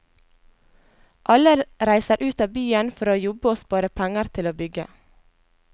Alle reiser ut av byen for å jobbe og spare penger til å bygge.